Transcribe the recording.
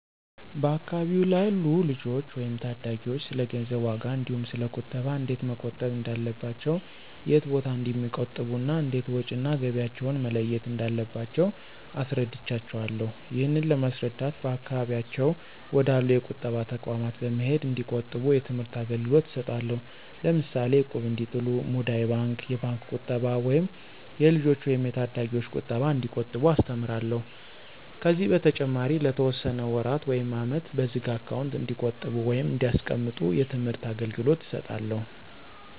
በአካባቢው ላሉ ልጆች ወይም ታዳጊዎች ስለገንዘብ ዋጋ እንዲሁ ስለ ቁጠባ እንዴት መቆጠብ እንዳለባቸው የት ቦታ እንደሚቆጥቡ እና እንዴት ወጭ እና ገቢያቸውን መለየት እንዳለባቸው አስረዳቸውአለሁ። ይህንን ለማስረዳት በአካባቢያቸው ወደ አሉ የቁጠባ ተቋማት በመሄድ እንዲቆጥቡ የትምህርት አገልግሎት እሰጣለሁ። ለምሳሌ እቁብ እንዲጥሉ፣ ሙዳይ ባንክ፣ የባንክ ቁጠባ ወይም የልጆች ወይም የታዳጊዎች ቁጠባ እንዲቆጥቡ አስተምራለሁ። ከዚህ በተጨማሪ ለተወሰነ ወራት ውይም አመት በዝግ አካውንት እንዲቆጥቡ ወይም እንዲያስቀምጡ የትምህርት አገልገሎት እሰጣለሁ።